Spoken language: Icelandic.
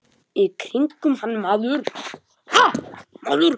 Í kringum hann maður.